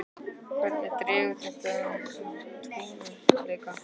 Hvernig dregur þetta úr hans trúverðugleika?